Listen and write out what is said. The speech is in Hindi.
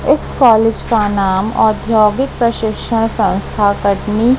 इस कॉलेज का नाम औद्योगिक प्रशिक्षण संस्था --